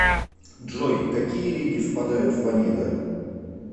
джой какие реки впадают в онего